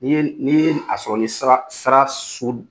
Ni ye ni ye a sɔrɔ ni sara sara sud